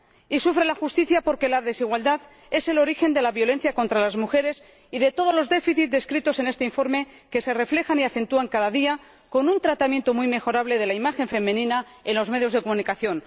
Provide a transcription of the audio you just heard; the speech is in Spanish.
Y sufre la justicia, porque la desigualdad es el origen de la violencia contra las mujeres y de todos los déficits descritos en este informe que se reflejan y acentúan, cada día, con un tratamiento muy mejorable de la imagen femenina en los medios de comunicación.